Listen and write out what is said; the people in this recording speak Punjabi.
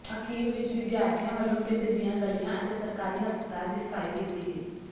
ਅਖੀਰ ਵਿੱਚ ਵਿਦਿਆਰਥੀਆਂ ਵੱਲੋਂ ਪਿੰਡ ਦੀਆਂ ਗਲੀਆਂ ਅਤੇ ਸਰਕਾਰੀ ਹਸਪਤਾਲ ਦੀ ਸਫ਼ਾਈ ਕੀਤੀ ਗਈ